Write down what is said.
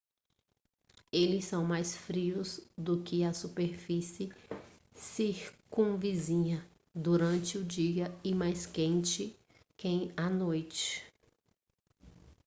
eles são mais frios do que a superfície circunvizinha durante o dia e mais quentes à noite